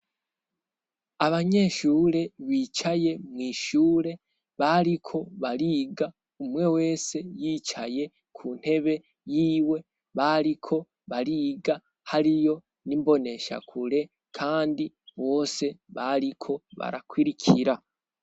Abanyeshure bicaye mw'ishure, bariko bariga, umwe wese yicaye ku ntebe yiwe, bariko bariga hariyo n'imboneshakure kandi bose bariko barakurikira.